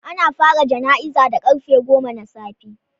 Ana fara jana'izar da karfe goma na safe